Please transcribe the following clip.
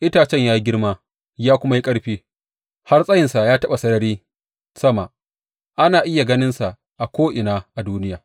Itacen ya yi girma ya kuma yi ƙarfi, har tsayinsa ya taɓa sarari sama; ana iya ganinsa a ko’ina a duniya.